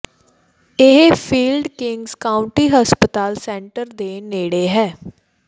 ਇਹ field Kings County ਹਸਪਤਾਲ centre ਦੇ ਨੇੜੇ ਹੈ